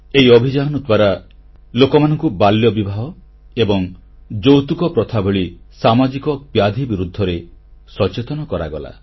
ଏହି ଅଭିଯାନ ଦ୍ୱାରା ଲୋକମାନଙ୍କୁ ବାଲ୍ୟବିବାହ ଏବଂ ଯୌତୁକ ପ୍ରଥା ଭଳି ସାମାଜିକ ବ୍ୟାଧି ବିରୁଦ୍ଧରେ ସଚେତନ କରାଗଲା